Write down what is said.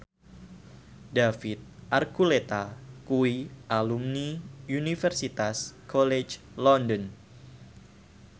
David Archuletta kuwi alumni Universitas College London